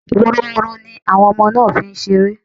Woroworo ní ọmọ náà fí ń ṣeré